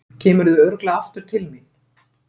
Kemurðu örugglega aftur til mín?